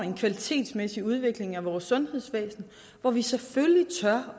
en kvalitetsmæssig udvikling af vores sundhedsvæsen hvor vi selvfølgelig